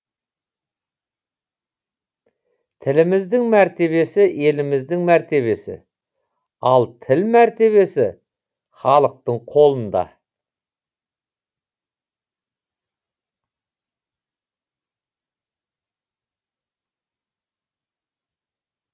тіліміздің мәртебесі еліміздің мәртебесі ал тіл мәртебесі халықтың қолында